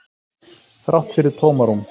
Þrátt fyrir tómarúm.